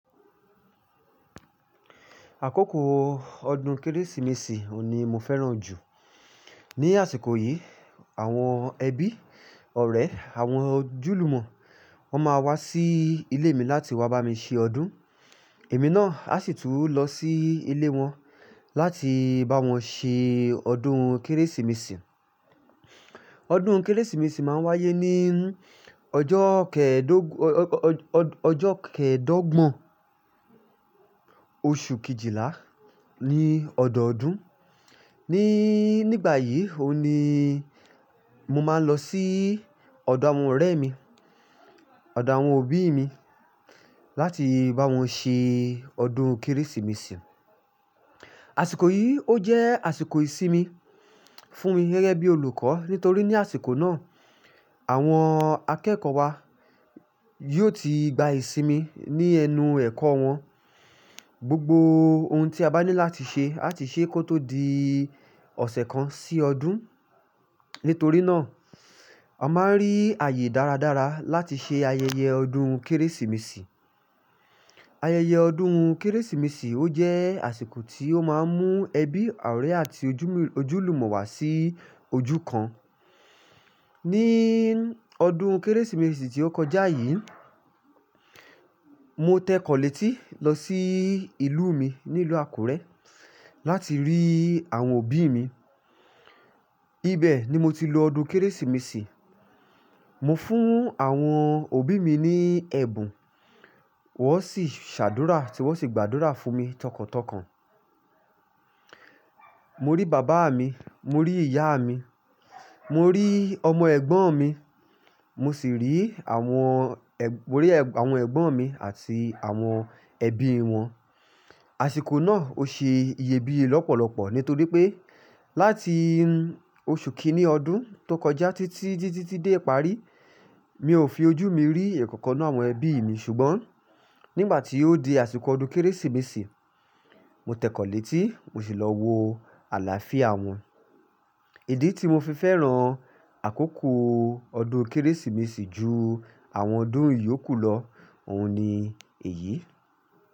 Àkókò ọdún Kérésìmesì òun ni mo fẹ́ràn jù. Ni àsìkò yìí, àwọn ẹbí, ọ̀rẹ́, àwọn ojúlùmọ̀, wọ́n máa wá sí ilé mi láti wá bá mi ṣe ọdún. Èmi náà a sì tún lọ sí ilé wọn láti bá wọn ṣe ọdún Kérésìmesì. Ọdún Kérésìmesì máa ń wáyé ní ọjọ́ kẹẹ̀dọgbọ̀n oṣù kejìlá ní ọdọọdún. Ni, nígbà yìí o ni mo máa ń lọ sí ọ̀dọ̀ àwọn ọ̀rẹ́ mi, ọ̀dọ̀ àwọn òbí mi láti bá wọn ṣe ọdún Kérésìmesì. Àsìkò yìí ó jẹ́ àsìkò ìsinmi fún mi gẹ́gẹ́ bí olùkọ́ nítorí ní àsìkò náà, àwọn akẹ́kọ̀ọ́ wa yóò ti gba ìsinmi ní ẹnu ẹ̀kọ́ wọn. Gbogbo ohun tí a bá ní láti ṣe àti ṣe kó tó di ọ̀sẹ̀ kan sí ọdún. Nítorí náà, a máa ń rí ààyè dáradára láti ṣe ayẹyẹ ọdún Kérésìmesì. Ayẹyẹ ọdún Kérésìmesì ó jẹ́ àsìkò tí ó máa ń mú ẹbí, ọ̀rẹ́ àti ojúlùmọ̀ wá sí ojú kan. Ni ọdún Kérésìmesì tí ó kọjá yí, mo t'ẹkọ létí lọ sí ìlú mi ní ìlú Akurẹ, láti rí àwọn òbí mi ibẹ̀ ni mo ti lo ọdún Kérésìmesì. Mo fún àwọn òbí mi ní ẹ̀bùn wọ́n sì ṣàdúrà tí wọ́n sì gbàdúrà fún mi tọkàntọkàn. Mo rí bàbá mi, mo rí ìyá mi, mo rí ọmọ ẹ̀gbọ́n mi, mo sì rí àwọn àwọn ẹ̀gbọ́n mi àti àwọn ẹbí wọn. Àsìkò náà ó ṣe iyebíye lọ́pọ̀lọpọ̀ nítorí pé láti oṣù kíní ọdún tó kọjá títí díí tì de ìparí, mi ò fi ojú mi rí èèyàn kankan nínú àwọn ẹbí mi ṣùgbọ́n nígbà tí ó di àsìkò ọdún Kérésìmesì, mo tẹ̀kọ̀ọ́lẹ́ tí mo sì lọ wo àlàáfíà wọn. Ìdí tí mo fi fẹ́ràn àkókò ọdún Kérésìmesì ju àwọn ọdún ìyókù lọ, òun ni èyí.